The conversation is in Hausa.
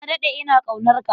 Na daɗe ina ƙaunarka.